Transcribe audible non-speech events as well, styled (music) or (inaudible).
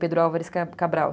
(unintelligible) Álvares Cabral, Cabral